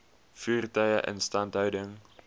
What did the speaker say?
voertuie instandhouding